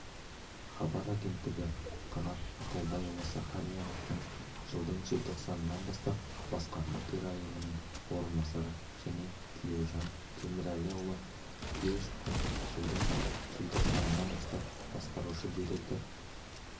хабар агенттігі қанат ақылбайұлы сахарияновтың жылдың желтоқсанынан бастап басқарма төрайымының орынбасары және тілеужан темірәліұлы тілешовтің жылдың желтоқсанынан бастап басқарушы директор